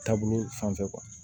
Taabolo fan fɛ